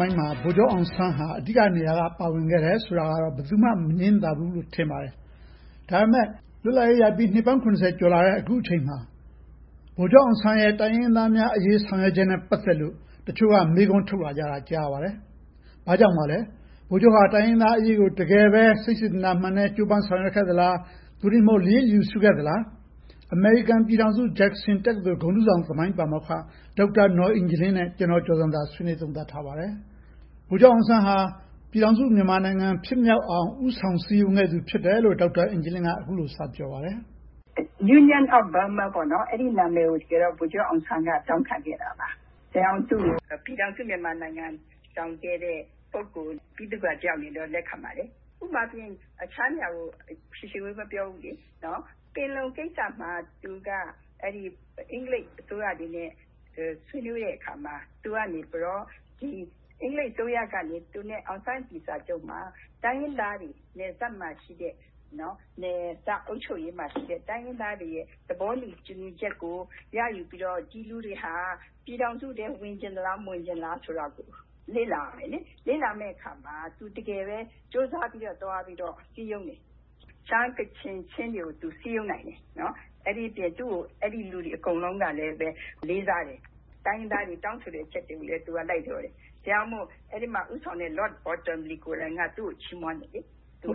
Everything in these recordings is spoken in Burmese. မိုင်းမှာ ဗိုလ်ချုပ်အောင်ဆန်းရဲ့ အခန်းကဏ္ဍဟာ အဓိကနေရာမှာ ပါဝင်နေတယ်ဆိုတာကိုတော့ ဘယ်သူမှ မငြင်းသာဘူးလို့ ထင်ပါတယ်။ ဒါပေမဲ့ လွတ်လပ်ရေးရပြီး နှစ်ပေါင်း ကျော်လာခဲ့တဲ့ အခုအချျိန်မှာ ဗိုလ်ချုပ်အောင်ဆန်းရဲ့တိုင်းရင်းသားအရေး ဆောင်ရွက်ချက်နဲ့ ပတ်သက်လို့ တိုင်းရင်းသားတချို့မေးခွန်းထုတ်လာတာ ကြားရပါတယ်။ ဘာကြောင့်ပါလဲ။ ဗိုလ်ချုပ်သည် တိုင်းရင်းသားအရေးကို စိတ်ရင်းစေတနာမှန်နဲ့ေ ဆာင်ရွက်ခဲ့သလား။ ဒါမှမဟုတ် လျစ်လျူရှုခဲ့ပါသလား။ အမေရိကန် ပြည်ထောင်စု ဂျက်ဆင် တက္ကသိုလ် ဂုဏ်ထူးဆောင် သမိုင်းပါမောက္ခ ဒေါက်တာနော်အင်ဂျလင်း နဲ့ ကျနော် ကျော်ဇံသာတို့ ဆွေးနွေးသုံးသပ်ထားပါတယ်။ ဗိုလ်ချပ်အောင်ဆန်းဟာ ပြည်ထာင်စုမြန်မာနိုင်ငံ ဖြစ်မြောက်အောင် ဦးဆောင်စည်းရုံးခဲ့ သူ ဖြစ်တယ်လို့ ဒေါက်တာအင်ဂျလင်းက အခုလိုစပြောပါတယ်၊ ဖြေ ။ ။ Union of Burma အဲ့ဒီနာမည်ကို ဗိုလ်ချုပ်အောင်ဆန်းက တောင်းခံခဲ့တာပါ။ ဒါကြောင့် သူကိုတော့ ပြည်ထောင်စုမြန်မာနိုင်ငံ တည်ထောင်ခဲ့တဲ့ ပုဂ္ဂိုလ် ဗိသုကာတယောက်အနေနဲ့တော့ လက်ခံပါတယ်။ ဥပမာအားဖြင့် တခြားနေရာကိုတော့ ရှည်ရှည်ဝေးဝေး မပြောဘူးလေ။ ပင်လုံကိစ္စမှာ သူက အင်္ဂလိပ်အစိုးရနဲ့ ဆွေးနွေးတဲ့အခါမှာ သူကနေ အင်္ဂလိပ်အစိုးရကနေ အောင်ဆန်း-အတ္တလီစာချုပ် မှာ တိုင်းရင်းသားတွေနဲ့ နယ်စပ်အုပ်ချုပ်ရေးမှာရှိတဲ့ တိုင်းရင်းသားတွေရဲ့ သဘောတူညီချက်ကို ရယူပြီးတော့ ဒီလူတွေက ပြည်ထောင်စုထဲ ဝင်ချင်သလား၊ မဝင်ချင်ဘူးလားဆိုတာကို လေ့လာခဲ့တယ်။ လေ့လာတဲ့အခါမှာ တကယ်ပဲ ကြိုးစားပြီးတော့ သွားပြီးတော့ စည်းရုံးတယ်။ ရှမ်း၊ ကချင်၊ ချင်းတွေကို သူစည်းရုံးနိုင်တယ်။ အဲဒီအပြင် သူကို အဲဒီလူတွေအားလုံးကလည်း လေးစားတယ်။ တိုင်းရင်းသားတွေ တောင်းဆိုတဲ့အချက်တွေကိုလည်း သူက လိုက်လျောတယ်။ ဒါကြောင့်မို့ အဲဒီမှာဦးဆောင်တဲ့ Lord Bottomley ကိုယ်တိုင်က သူ့ကို ချီးမွမ်းတယ်။ သူ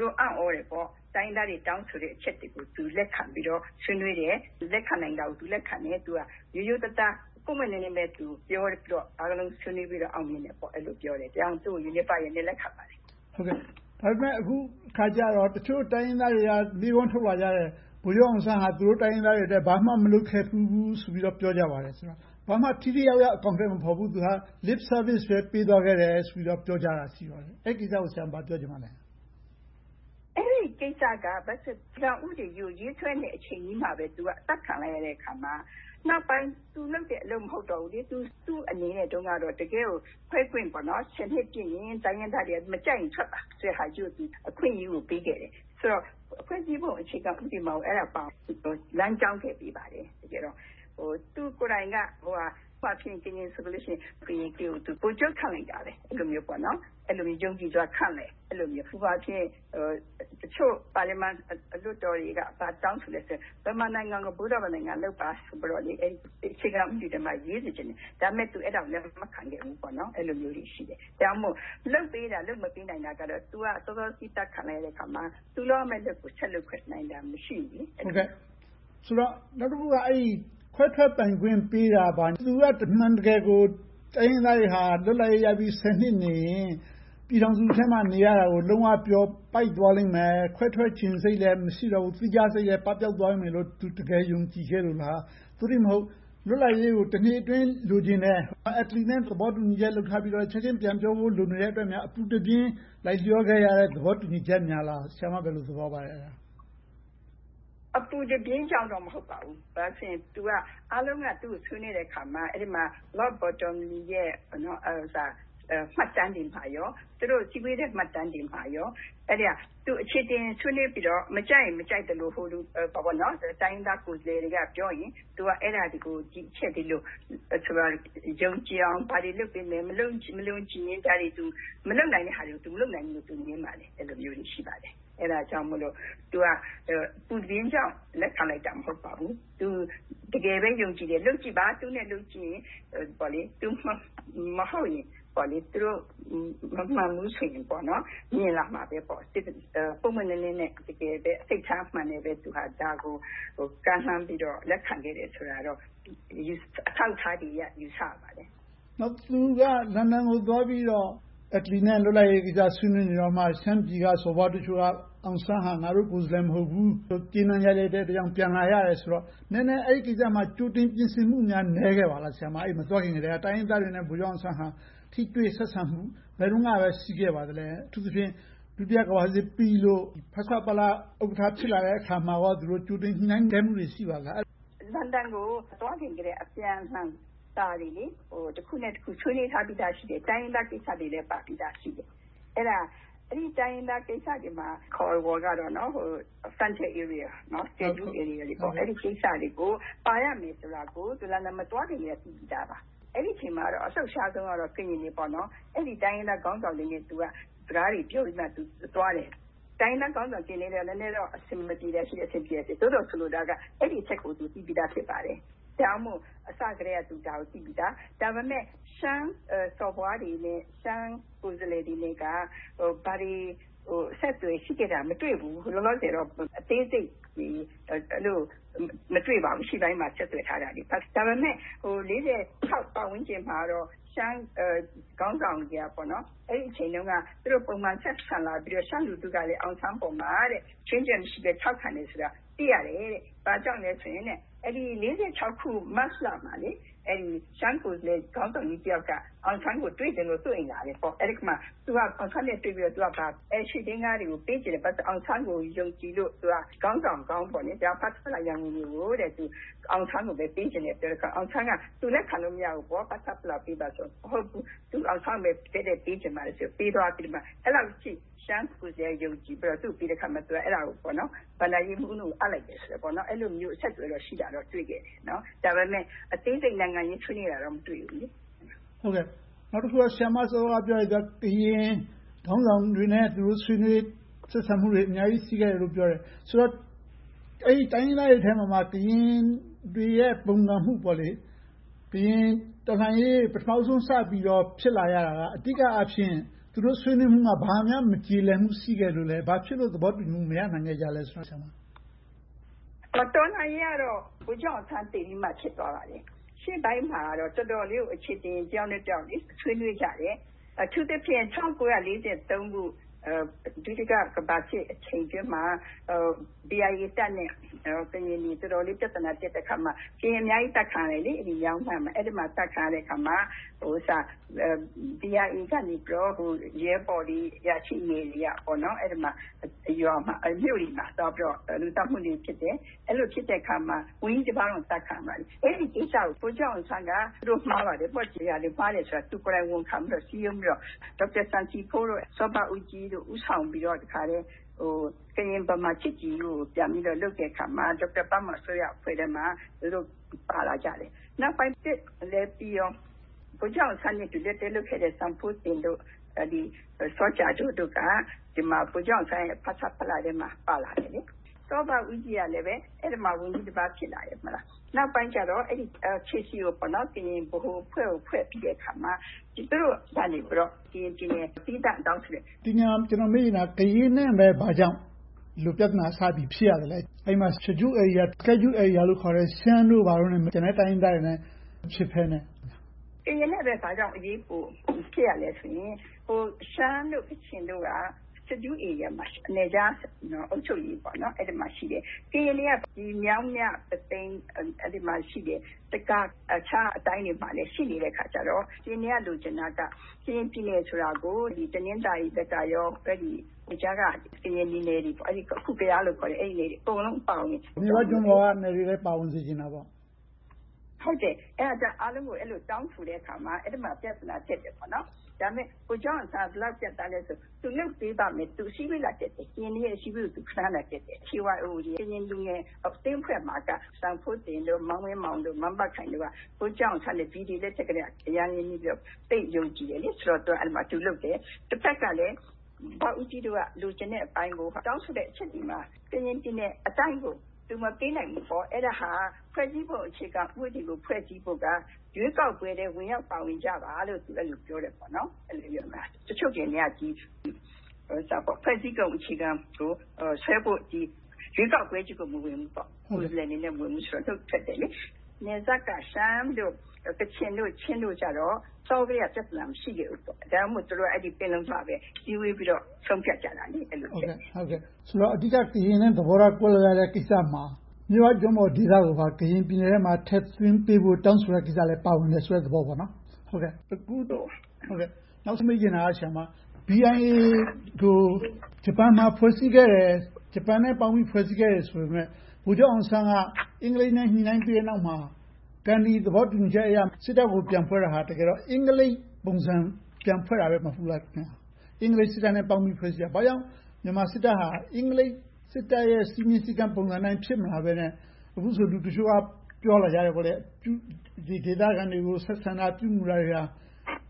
တို့အံ့သြတယ်။ တိုင်းရင်းသားတွေ တောင်းဆိုတဲ့အချက်တွေကို သူ လိုက်ခံပြီးတော့၊ ဆွေးနွေးတယ်။ သူလက်ခံနိုင်တာကို သူလက်ခံတယ်။ ရိုးရိုးသားသား၊ ပွင့်ပွင့်လင်းလင်းပဲ ပြောပြီးတော့ အားလုံးဆွေးနွေးပြီးတော့ အောင်မြင်တယ်ပေါ့။ အဲဒါကြောင့် သူ့ကို Unifier အနေနဲ့ လက်ခံပါတယ်။ မေး ။ ။ ဒါပေမဲ့ အခုအခါကြတော့ တချို့တိုင်းရင်းသားတွေက မေးခွန်းထုတ်လာကြတယ်။ ဗိုလ်ချုပ်အောင်ဆန်းဟာ သူတို့တိုင်းရင်းသားတွေအတွက် ဘာမှမလုပ်ခဲ့ဖူးဘူူးဆိုပြီးတော့ ပြောကြပါတယ်။ ဘာမှထိထိရောက်ရောက် အကောင်အထည်မဖော်ဘူး - lip service ပဲ ပေးသွားခဲ့တယ် ဆိုပြီးတော့ ပြောကြတာ ရှိပါတယ်။ အဲဒီကိစ္စကို ဆရာမ ဘာပြောချင်ပါလဲ။ ဖြေ ။ ။ အဲဒီကိစ္စကတော့ ဥပဒေကြီးကို ရေးဆွဲနေတဲ့အချိန်မှာပဲ သူက အသတ်ခံလိုက်ရတဲ့အခါမှာ နောက်ပိုင်း သူလုပ်တဲ့အလုပ် မဟုတ်တော့ဘူးလေ။ သူ့အနေနဲ့တုန်းကတော့ တကယ့်ကိုခွဲခွင့် နှစ်ပြည့်ရင် တိုင်းရင်းသားတွေက မကြိုက်ရင်ထွက်ပါဆိုတာကို အခွင့်အရေးပေးခဲ့တယ်။ ဆိုတော့ ဖွဲ့စည်းပုံအခြေခံဥပဒေမှာ အဲဒါကို လမ်းကြောင်းခဲ့ပေးပါတယ်။ သူကိုယ်တိုင်က ဥပမာ ကရင်ဆိုလို့ရှိရင် ဗိုလ်ချုပ်ခန့်လိုက်တာပဲ။ အဲဒီလို ယုံကြည်စွာနဲ့ လုပ်ခဲ့တယ်။ ဥပမာ တချို့ပါလီမန်လွှတ်တော်တွေက ဘာတောင်းဆိုသလဲဆိုတော့ မြန်မာနိုင်ငံကို ဗုဒ္ဓဘာသာနိုင်ငံ လုပ်ပါဆိုပြီးတော့ အခြေခံဥပဒေထဲမှာ ရေးစေချင်တယ်။ ဒါပေမဲ့ အဲဒါကို သူလက်မခံခဲ့ဘူး။ အဲဒါမျိုးတွေ ရှိတယ်။ ဒါမှမဟုတ် လုပ်ပေးတာ၊ မလုပ်ပေးတာကတော့ သူက စောစောစီးစီး အသတ်ခံလိုက်ရတဲ့အခါမှာ သူလုပ်ရမယ့်အလုပ်ကို ဆက်လုပ်ခွင့် မရှိဘူးလေ။ မေး ။ ။ ဆိုတော့ နောက်တခုက ခွဲထွက်ပိုင်ခွင့်ပေးတာက သူက အမှန်တကယ်ကို တိုင်းရင်းသားတွေဟာ လွတ်လပ်ရေးရပြီး နှစ်နေရင် ပြည်ထောင်စုထဲမှာ နေရတာကို လုံးဝပျော်ပိုက်သွားလိမ့်မယ်။ ခွဲထွက်ချင်စိတ်လည်း မရှိတော့ဘူး။ သီးခြားစိတ်လည်း ပပျောက်သွားမယ်လို့ သူ တကယ်ယုံကြည်ခဲ့လို့လား။ သို့တည်းမဟုတ် လွတ်လပ်ရေးကို နှစ်အတွင်း လိုချင်တယ်။ Atlee နဲ့ သဘောတူညီချက် လုပ်ထားပြီးတော့ ချက်ချင်းပြန်ပြောဖို့ လိုနေလို့များ အပူတပင် လိုက်လျောခဲ့ရတဲ့သဘောတူညီချက်များလား။ ဆရာမ အဲဒါကို ဘယ်လိုသဘောရပါသလဲ။ ဖြေ ။ ။ အပူတပြင်းကြောင့်တော့ မဟုတ်ပါဘူး။ ဘာဖြစ်လို့လဲဆိုတော့ အားလုံးက သူကို ဆွေးနွေးခဲ့တဲ့အခါမှာ Lord Bottomley ရဲ့ မှတ်တမ်းတွေမှာနဲ့ သူတို့အစည်းအဝေးမှတ်တမ်းတွေမှာပါ သူ အခြေအတင်ဆွေးနွေးပြီးတော့မှ မကြိုက်ရင် မကြိုက်သလို ဟိုလူဒီလူ တိုင်းရင်းသားကိုယ်စားလှယ်တွေကပြောရင် သူက အဲဒါတွေကို ဒီအချက်ဒီလို ယုံကြည်အောင် ဘာတွေလုပ်ပေးမယ်၊ မယုံကြည်ရင် မလုပ်နိုင်တာဟာတွေကို မလုပ်နိုင်ဘူးလို့ သူငြင်းခဲ့ပါတယ်။ အဲဒါမျိုးတွေ ရှိပါတယ်။ အဲဒါကြောင့် အပူတပြင်းကြောင့် လက်ခံလိုက်တာ မဟုတ်ပါဘူး။ သူ တကယ်ပဲယုံကြည်တယ်။ လုပ်ကြည့်ပါ။ သူနဲ့လုပ်ကြည့်ရင် သူမဟုတ်ရင် သူတို့မမှန်ဘူးဆိုရင် မြင်လာမှာပဲပေါ့။ ပွင့်ပွင့်လင်းလင်းနဲ့ တကယ်ပဲ စိတ်ထားမှန်စွာနဲ့ပဲ ဒါကိုကမ်းလှမ်းပြီးတော့ လက်ခံခဲ့တယ်ဆိုတာကိုတော့ အထောက်အထားတွေအရ ယူဆရပါတယ်။ မေး ။ ။ နောက် သူက လန်ဒန်ကို သွားပြီးတော့ Atlee နဲ့ လွတ်လပ်ရေးကိစ္စ ဆွေးနွေးနေတုန်းမှာ ရှမ်းပြည်က စော်ဘွားတချို့က အောင်ဆန်းဟာ ငါတို့ကိုယ်စားလှယ် မဟုတ်ဘူးလို့ ကြေးနန်းရိုက်လိုက်တဲ့အတွက် ပြန်လာရတယ်ဆိုတော့ နည်းနည်းအဲဒီကိစ္စမှာ ကြိုတင်ပြင်ဆင်မှုများ နည်းခဲ့ပါသလား။ အဲဒီကို မသွားခင်ကတည်းက တိုင်းရင်းသားတွေနဲ့ ဗိုလ်ချုပ်အောင်ဆန်းဟာ ထိတွေ့ဆက်ဆံမှု ဘယ်တုန်းကများ ရှိခဲ့ပါသလဲ။ အထူးသဖြင့် ဒုတိယကမ္ဘာစစ်ပြီးလို့ ဖဆပလ ဥက္ကဋ္ဌ ဖြစ်လာတဲ့အခါမှာ သူတို့ကြိုတင်ညှိနှိုင်းမှုတွေ ရှိပါသလား။ ဖြေ ။ ။ လန်ဒန်ကို မသွားခင်ကတည်းက အပြန်အလှန်စာတွေ တခုနဲ့တခု ဆွေးနွေးထားပြီသားရှိတယ်။ တိုင်းရင်းသားကိစ္စတွေလည်း ပါပြီသားရှိတယ်။ အဲဒီတိုင်းရင်းသားကိစ္စတွေမှာ အခေါ်အဝေါ်ကတော့ schedule area အဲဒီကိစ္စတွေကို ပါရမယ်ဆိုတာကို လန်ဒန်မသွားခင်ကတည်းက ရှိပြီသားပါ။ အဲဒီအချိန်မှာတော့ အလှုပ်ရှားဆုံးကတော့ ကရင်တွေပါ။ အဲဒီတိုင်းရင်းသားခေါင်းဆောင်တွေနဲ့ စကားတွေပြောပြီးမှ သူက သွားတယ်။ တိုင်းရင်းသားခေါင်းဆောင်တွေ ကရင်တွေနဲ့ နည်းနည်းတော့ အဆင်မပြေတာရှိတယ်။ အဆင်ပြေတာရှိတယ်။ သို့သော် ဆိုလိုတာက အဲဒီအချက်ကို သူသိပြီသား ဖြစ်ပါတယ်။ ဒါကြောင့်မို့ အစကတည်းက သူက ဒါကိုသိပြီသား။ ဒါပေမဲ့ ရှမ်းစော်ဘွားတွေနဲ့ ရှမ်းကိုယ်စားလှယ်တွေနဲ့က ဘာတွေအဆက်အသွယ်ရှိခဲ့တယ်ဆိုတာ မတွေ့ဖူးဘူး။ လောလောဆယ်တော့ အသေးစိတ်တွေ မတွေ့ပါဘူး။ အရှေ့ပိုင်းမှာ ဆက်သွယ်ထားတာတွေ။ ဒါပေမဲ့ ပတ်ဝန်းကျင်မှာတော့ ရှမ်းခေါင်းဆောင်တွေက အဲဒီအချိန်တုန်းက သူတို့ပုံမှန်ဆက်ဆံလာပြီးတော့ ရှမ်းလူထုက အောင်ဆန်းအပေါ်မှာ ခြွင့်ချက်မရှိဘဲ ထောက်ခံတယ်ဆိုတာကို သိရတယ်။ ဘာကြောင့်လဲဆိုရင် အဲဒီ ၁၉၄၆ ခု၊ မတ်လမှာ ရှမ်းကိုယ်စားလှယ် ခေါင်းဆောင်ကြီးတယောက်က အောင်ဆန်းကို တွေ့ချင်လို့ သူ့အိမ်ကိုလာတယ်။ သူက အောင်ဆန်းနဲ့ တွေ့ပြီးတော့ ရွှေဒင်္ဂါတွေကို ပေးခဲ့တယ်။ ဘာဖြစ်လို့လဲဆိုတော့ အောင်ဆန်းကို ယုံကြည်လို့ သူက ခေါင်းဆောင်ကောင်း။ သူက အောင်ဆန်းကိုပဲ ပေးချင်တယ်ဆိုတော့ အောင်ဆန်းက သူ လက်ခံလို့မရဘူး။ ဖဆပလကိုပဲ ပေးပါဆိုပြီးပြောပေမယ့် သူက အောင်ဆန်းကိုပဲ တိုက်ရိုက်ပေးချင်တယ်လို့ ပေးသွားတယ်။ အဲဒီလောက်အထိ ရှမ်းကိုယ်စားလှယ်က ယုံကြည်ပြီးပေးတဲ့အခါမှာ သူက အဲဒါကို ဘဏ္ဍာရေးမှူး ဦးနုကို ပေးလိုက်တယ်။ အဲဒီလိုမျိုး အဆက်အသွယ်တွေ ရှိတာကိုတော့ တွေ့ခဲ့တယ်။ ဒါပေမဲ့ အသေးစိတ် နိုင်ငံရေးဆွေးနွေးတာတော့ မတွေ့ဘူး။ မေး ။ ။ နောက်တခုက ဆရာမစောစောကပြောတဲ့ ကရင်ခေါင်းဆောင်တွေနဲ့ ဆွေးနွေးမှုတွေ အများကြီးရှိခဲ့တယ်လို့ ပြောတယ်။ ဆိုတော့ အဲဒီတိုင်းရင်းသားတွေထဲမှာမှ ကရင်တွေရဲ့ ပုန်ကန်မှု။ ကရင်တော်လှန်ရေး ပထမဦးဆုံး စပြီးတော့ ဖြစ်လာရတာက အဓိကအားဖြင့် သူတို့ဆွေးနွေးမှုက ဘာများမကျေလည်မှု ရှိခဲ့လို့လဲ။ ဘာဖြစ်လို့ သဘောတူညီမှု မရနိုင်ခဲ့တာလဲဆိုတာကို ပြောပြပါ ဆရာမ။ ဖြေ ။ ။ ကရင်တော်လှန်ရေးကတော့ ဗိုလ်ချုပ်အောင်ဆန်းသေပြီးမှ ဖြစ်ခဲ့တာပါ။ ရှေ့ပိုင်းမှာတော့ တော်တော်လေး အခြေအတင် တယောက်နဲ့တယောက် ဆွေးနွေးကြတယ်။ အထူးသဖြင့် ၁၉၄၃ ခုနှစ် ဒုတိယကမ္ဘာစစ်အချိန်အတွင်းမှာ BIA တပ်နဲ့ ကရင်တွေ တော်တော်လေး ပြဿနာတက်တဲ့အခါမှာ ကရင်အများကြီး အသတ်ခံရတယ်။ မြောင်းမြမှာ အသတ်ခံရတဲ့အခါမှာ BIA ကနေ ရဲဘော်တွေ၊ အရာရှိတွေက အဲဒီရွာတွေ၊ မြို့တွေမှာ သွားပြီးတော့ လူသတ်မှုတွေ ဖြစ်တယ်။ အဲဒီလိုဖြစ်တဲ့အခါမှာ ဝန်ကြီးတပါးတောင် အသတ်ခံရပါတယ်။ အဲဒီကိစ္စကို ဗိုလ်ချုပ်အောင်ဆန်းက သူတို့မှားပါတယ်။ မှားတယ်ဆိုတာကို သူကိုယ်တိုင် ဝန်ခံပြီးတော့၊ စည်းရုံးပြီးတော့ ဒေါက်တာစံစီးဖိုး၊ စောဘဦးကြီးတို့ ဦးဆောင်ပြီးတော့ ကရင်-ဗမာ ချစ်ကြည်ရေးကို ပြန်ပြီးတော့ လုပ်တဲ့အခါမှာ ဒေါက်တာဘမော် အစိုးရအဖွဲ့ထဲမှာ သူတို့ပါလာကြတယ်။ နောက်ပိုင်း စစ်ကြီးလည်းပြီရော ဗိုလ်ချုပ်အောင်ဆန်းနဲ့ လက်တွဲလုပ်ခဲ့တဲ့ စံဖိုးသင်၊ စောကြာဒိုးတို့က ဗိုလ်ချုပ်အောင်ဆန်းရဲ့ ဖဆပလထဲမှာ ပါလာတယ်။ စောဘဦးကြီးကလည်း အဲဒီမှာ ဝန်ကြီးတပါး ဖြစ်လာခဲ့တယ်။ နောက်ပိုင်းကြတော့ ကရင်ဗဟိုအဖွဲ့ကို ဖွဲ့ပြီးတဲ့အခါမှာ သူတို့ကနေ ကရင်ပြည်နယ် သီးသန့်တောင်းဆိုခဲ့တယ်။ မေး ။ ။ ဒီနေရာမှာ ကျနော် မေးချင်တာက ကရင်နဲ့ပဲ ဘာကြောင့် ဒီလိုပြဿနာ စဖြစ်ရသလဲ။ အဲဒီမှာ schedule areas လို့ခေါ်တဲ့ ရှမ်းတို့၊ အခြားတိုင်းရင်းသားတွေနဲ့ မဖြစ်ဘဲနဲ့ ဖြေ ။ ။ ကရင်နဲ့ပဲ ဘာကြောင့် ဖြစ်ရသလဲဆိုရင် ရှမ်းတို့ ကချင်တို့က Schedule Areas မှာ နယ်ခြားအုပ်ချုပ်ရေးမှာ ရှိတယ်။ ကရင်တွေက မြောင်းမြ၊ ပုသိမ်မှာ ရှိတယ်။ တခါ ရှိနေတော့ ကရင်တွေက လိုချင်တာက ကရင်ပြည်နယ်ဆိုတာကို တနင်္သာရီဘက်ကနေ ကြားက ကရင်နီနယ်တွေ အခု ကယားလို့ခေါ်တဲ့ နယ်တွေ အကုန်လုံးအပါအဝင်… - ဟုတ်တယ်.. အဲဒါတွေ အကုန်လုံးကို တောင်းဆိုခဲ့တဲ့အခါမှာ အဲဒီမှာ ပြဿနာ ဖြစ်တယ်။ ဒါပေမဲ့ ဗိုလ်ချုပ်အောင်ဆန်းက ဘယ်လောက် ပြတ်သားသလဲဆိုရင် သူလုပ်ပေးပါမယ်။ သူအစည်းအဝေး လာတက်တယ်။ ကရင်တွေရဲ့ အစည်းအဝေးကို ခဏခဏ သူတက်တယ်။ သူက ကရင်လူငယ်အသင်းအဖွဲ့မှာ စံဖိုးသင်၊ မန်းဝင်းမောင်၊ မန်းဘခိုင်တို့က ဗိုလ်ချုပ်အောင်ဆန်းနဲ့ အရမ်းရင်းနှီးပြီးတော့ သူကို ယုံကြည်တယ်။ အဲဒီမှာ သူလုပ်တယ်။ တဘက်ကလဲ စောဘဦးကြီးတို့က လိုချင်တဲ့အပိုင်းကို တောင်းဆိုတဲ့အချက်တွေမှာ ကရင်ပြည်နယ်အတိုင်းကို သူမပေးနိုင်ဘူး။ အဲဒါဟာ ဖွဲ့စည်းပုံအခြေခံဥပဒေကို ဖွဲ့စည်းဖို့က ရွေးကောက်ပွဲထဲ ဝင်ရောက်ပါဝင်ကြပါလို့ အဲဒီလိုပြောခဲ့တယ်။ တချို့ကရင်တွေက ဖွဲ့စည်းပုံအခြေခံကိုဆွဲဖို့လုပ်ပြီး၊ ရွေးကောက်ပွဲကို မဝင်ဘူး။ ကိုယ်စားလှယ်အနေနဲ့ မဝင်ဘဲ၊ နှုတ်ထွက်ခဲ့ကြတယ်။ နယ်စပ်က ရှမ်း၊ ကချင်၊ ချင်းတို့ကြတော့ အစောကတည်းက ပြဿနာ မရှိခဲ့ကြဘူး။ ဒါကြောင့်မို့ သူတို့က ပင်လုံမှာပဲ အစည်းအဝေးပြီးတော့ ဆုံးဖြတ်ကြတယ်။ မေး ။ ။ ဆိုတော့ အဓိက ကရင်နဲ့ သဘောထားကွဲလွဲခဲ့တဲ့ ကိစ္စမှာ မြစ်ဝကျွန်းပေါ်ဒေသကိုပါ ကရင်ပြည်နယ်ထဲမှာ ထည့်သွင်းပေးဖို့ တောင်းဆိုတဲ့ကိစ္စလည်း ပါဝင်တဲ့သဘောပေါ့။ နောက်ပေးချင်တဲ့ မေးခွန်းက BIA ကို ဂျပန်မှာ ဖွဲ့စည်းခဲ့တယ်။ ဂျပန်နဲ့ပေါင်းပြီး ဖွဲ့စည်းခဲ့တယ် ဆိုပေမယ့် ဗိုလ်ချုပ်အောင်ဆန်းက အင်္ဂလိပ်နဲ့ ညှိနှိုင်းပြီးတဲ့နောက်မှာ ဂန္ဓီသဘောတူညီချက်အရ စစ်တပ်ကို ပြန်ဖွဲ့တဲ့အခါ အင်္ဂလိပ်ပုံစံ ပြန်ဖွဲ့ခဲ့တယ် မဟုတ်ဘူးလား။ အင်္ဂလိပ်စစ်တပ်နဲ့ ပေါင်းပြီးတော့ ဖွဲ့စည်းတာ။ ဘာကြောင့် မြန်မာစစ်တပ်ဟာ အင်္ဂလိပ်စစ်တပ်ရဲ့ စည်းမျဉ်းစည်းကမ်းပုံစံနဲ့ ဖြစ်မလာဘဲနဲ့ အခုဆိုရင် လူတချို့က ပြောလာကြတယ် ဒေသခံတွေ ဆက်ဆံတာ၊ ပြုမှုတာတွေက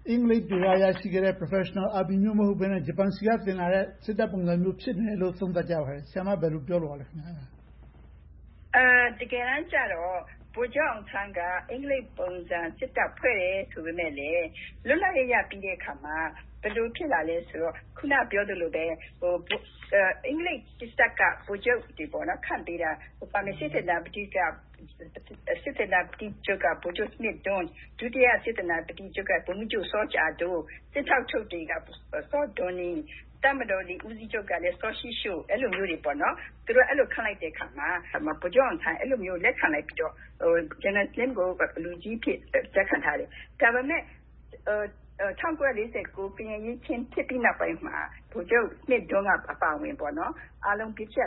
အင်္ဂလိပ်တွေဆီက ရရှိခဲ့တဲ့ Professional Army ပုံစံမျိုး မဟုတ်ဘဲနဲ့ ဂျပန်ဆီက သင်လာတဲ့ စစ်တပ်ပုံစံမျိုး ဖြစ်နေတယ်လို့ သုံးသပ်ကြပါတယ်။ ဆရာမ ဘယ်လိုပြောလိုပါသလဲ။ ဖြေ ။ ။ တကယ်တမ်းကြတော့ ဗိုလ်ချုပ်အောင်ဆန်းက အင်္ဂလိပ်ပုံစံ စစ်တပ်ကို ပြန်ဖွဲပတယ်ဆိုပေမယ့်လဲ လွတ်လပ်ရေးရပြီးတဲ့အခါမှာ ဘယ်လိုဖြစ်လာသလဲဆိုတော့ အခုနပြောသလိုပါပဲ အင်္ဂလိပ်စစ်တပ်က ဗိုလ်ချုပ်တွေ ခန့်ပေးတာ စစ်သေနာပတိချုပ်က ဗိုလ်ချုပ်စမစ်ဒွန်း၊ ဒုတိယစစ်သေနာပတိချုပ်က ဗိုလ်မှူးချုပ်စောကြာဒိုး၊ စစ်ထောက်ချုပ်တွေက စောဒေါ်နီ၊ တပ်မတော်လေ ဦးစီးချုပ်ကလည်း စောရှီးရှိုး အဲဒီလိုမျိုးတွေ ခန့်လိုက်တဲ့အခါမှာ ဗိုလ်ချုပ်အောင်ဆန်းက လက်ခံလိုက်ပြီးတော့ General Smith Dun ကို လူကြီးအဖြစ် လက်ခံထားတယ်။ ဒါပေမဲ့ ၁၉၄၉ ကရင်အရေးအခင်းဖြစ်ပြီး နောက်ပိုင်းမှာ ဗိုလ်ချုပ်စမစ်ဒွန်းအပါအဝင် အားလုံး ဗြိတိသျှ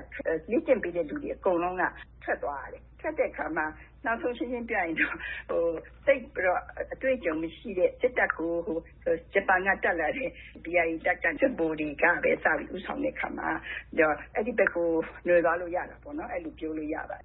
လေ့ကျင့်ပေးတဲ့ လူတွေအကုန်လုံးက ထွက်သွားရတယ်။ ထွက်တဲ့အခါမှာ နောက်ဆုံးရှင်းရှင်းပြောရရင်တော့ သိပ်ပြီးတော့ အတွေ့အကြုံမရှိတဲ့ စစ်တပ်ကို ဂျပန်က တက်လာတဲ့ BIA တပ်က စစ်ဗိုလ်တွေက ပြောင်းလဲဦးဆောင်တဲ့အခါမှာ အဲဒီဘက်ကိုနွှယ်သွားလို့ ရတာပေါ့။ အဲဒီလိုမျိုး ပြောလို့ရပါတယ်